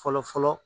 Fɔlɔ fɔlɔ